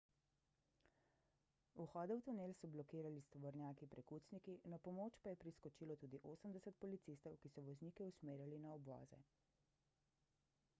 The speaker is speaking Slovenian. vhode v tunel so blokirali s tovornjaki prekucniki na pomoč pa je priskočilo tudi 80 policistov ki so voznike usmerjali na obvoze